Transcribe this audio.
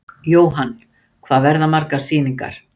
Jóhann: Hvað verða margar sýningar?